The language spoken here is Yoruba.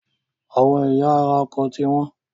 Àwọn ẹ̀yà ara ọkọ̀ ti wọ́n.